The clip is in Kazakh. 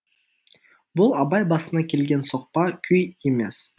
бұл абай басына келген соқпа күй емес